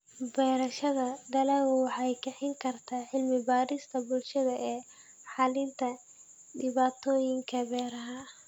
Beerashada dalaggu waxay kicin kartaa cilmi-baarista bulshada ee xallinta dhibaatooyinka beeraha.